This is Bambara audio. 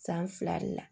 San fila de la